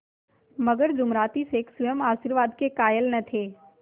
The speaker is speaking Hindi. मगर जुमराती शेख स्वयं आशीर्वाद के कायल न थे